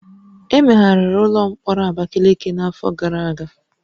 Emegharịrị ụlọ mkpọrọ Abakiliki n'afọ gara aga